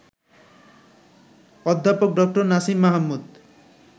অধ্যাপক ড. নাসিম মাহমুদ